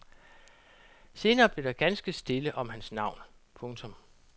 Senere blev der ganske stille om hans navn. punktum